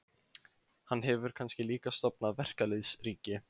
Hann hefur kannski líka stofnað verkalýðsríki?